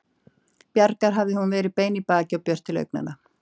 Bjargar hafði hún verið bein í baki og björt til augnanna.